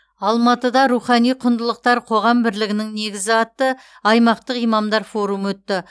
алматыда рухани құндылықтар қоғам бірлігінің негізі атты аймақтық имамдар форумы өтті